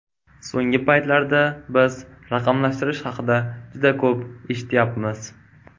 So‘nggi paytlarda biz raqamlashtirish haqida juda ko‘p eshityapmiz.